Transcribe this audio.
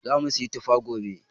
Zamu siyi tufa gobe.